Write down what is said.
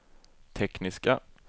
tekniska